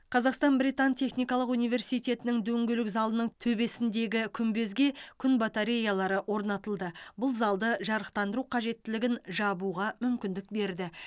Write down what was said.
қазақстан британ техникалық университетінің дөңгелек залының төбесіндегі күмбезге күн батареялары орнатылды бұл залды жарықтандыру қажеттілігін жабуға мүмкіндік берді